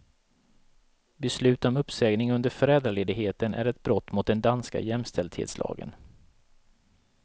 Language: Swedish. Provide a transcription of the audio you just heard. Beslut om uppsägning under föräldraledigheten är ett brott mot den danska jämställdhetslagen.